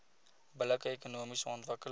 billike ekonomiese ontwikkeling